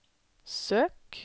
søk